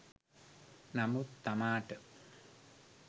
නමුත් තමාට